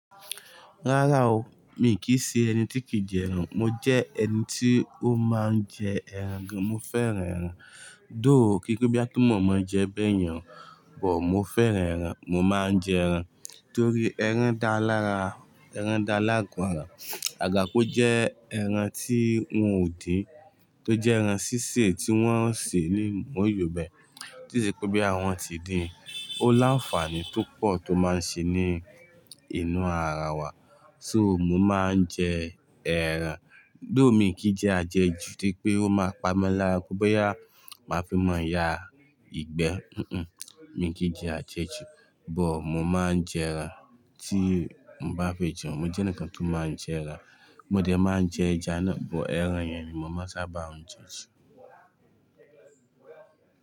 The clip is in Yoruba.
Rárá o, mi kì í ṣe ẹni tí kìí jẹ ẹran. Mo jẹ́ ẹni tí ó máa ń jẹ ẹran gan. Mo fẹ́ràn ẹran. Though kí se pe boya pe mọ̀ mọ́ n jẹ bẹ́yẹn o, but mo fẹ́ràn ẹran. Mo máa ń jẹ ẹran torí ẹran dá lára, ẹran dá lágo ara. Àga kó jẹ́ ẹran tí wọ́n ó din, tó jẹ́ ẹran sísè tí wọ́n ń sè ní omooyó be, tí i se pe boyà wọn tí din, ó láǹfààní tó pọ̀ tó máa ń ṣe ní inú ara wa. So mo máa ń jẹ ẹran. Though mi kì í jẹ àjẹjù, to se pé ó máa pami lára, pe bóyá, máa fi ma yá ìgbẹ́. Nn, mi kì í jẹ àjẹjù, but mo máa ń jẹ ẹran. Tí mo bá fẹ́ jẹun, mo jẹ́ eǹikan tó máa ń jẹ ẹran. Mo dẹ̀ máa ń jẹ ẹja nà, but ẹran yẹn ni mo máa sábà ń jẹ jù.